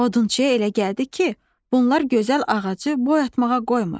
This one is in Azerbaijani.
Odunçuya elə gəldi ki, bunlar gözəl ağacı boy atmağa qoymur.